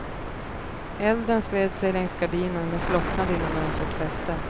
Elden spred sig längs gardinen men slocknade innan den hade fått fäste.